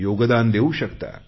योगदान देवू शकता